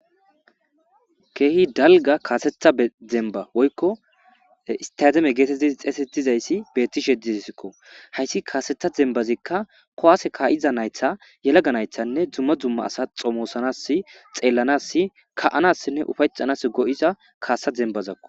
Keehi dalga kaasetha e demba woykko istademe geetetti xeesetizayssi bettishediessikko hayssi kaasetha zembazikka kowaase kaa''iza naytha yelaga naythanne dzumma dzumma asa xomoosanas xeellanass ka''anassinne ufayxanas go''iza kaasa dembazakko.